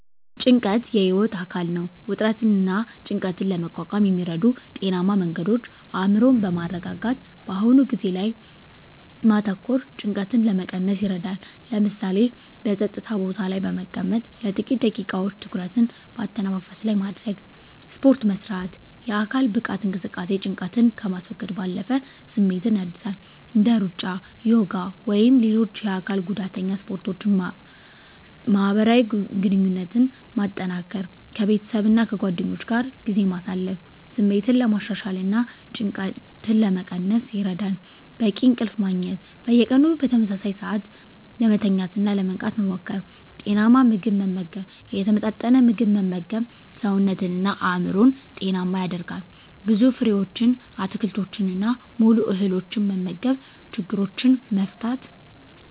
ጭንቀት የህይወት አካል ነው። ውጥረትንና ጭንቀትን ለመቋቋም የሚረዱ ጤናማ መንገዶች አእምሮን በማረጋጋት በአሁኑ ጊዜ ላይ ማተኮር ጭንቀትን ለመቀነስ ይረዳል። ለምሳሌ፣ በጸጥታ ቦታ ላይ በመቀመጥ ለጥቂት ደቂቃዎች ትኩረትን በአተነፋፈስ ላይ ማድረግ። ስፖርት መስራት: የአካል ብቃት እንቅስቃሴ ጭንቀትን ከማስወገድ ባለፈ ስሜትን ያድሳል። እንደ ሩጫ፣ ዮጋ ወይም ሌሎች የአካል ጉዳተኛ ስፖርቶችን ማህበራዊ ግንኙነትን ማጠናከር ከቤተሰብና ከጓደኞች ጋር ጊዜ ማሳለፍ ስሜትን ለማሻሻልና ጭንቀትን ለመቀነስ ይረዳል። በቂ እንቅልፍ ማግኘት። በየቀኑ በተመሳሳይ ሰዓት ለመተኛትና ለመንቃት መሞከር። ጤናማ ምግብ መመገብ የተመጣጠነ ምግብ መመገብ ሰውነትንና አእምሮን ጤናማ ያደርጋል። ብዙ ፍራፍሬዎችን፣ አትክልቶችንና ሙሉ እህሎችን መመገብ። ችግሮችን መፍታት።